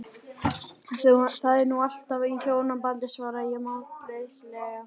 Það er nú allt annað í hjónabandi, svaraði ég máttleysislega.